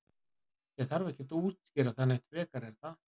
Ég þarf ekkert að útskýra það neitt frekar er það?